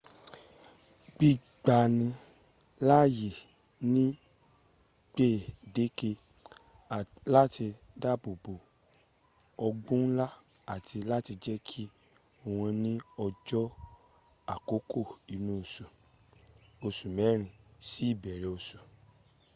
gbígbani láàyè ní gbèǹdéke láti dáàbòbò ọ̀gbun ńlá àti láti jẹ́ kó wà ní ọjọ́ àkọ́kọ́ inú oṣù oṣù mẹ́rin sí ìbẹ̀rẹ̀ oṣù